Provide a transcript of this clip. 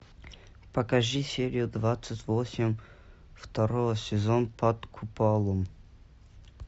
покажи серию двадцать восемь второй сезон под куполом